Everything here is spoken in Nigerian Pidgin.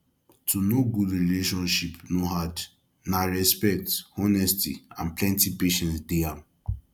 to know good relationship no hard na respect honesty and plenty patience dey am